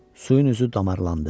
Suyun üzü damarlandı.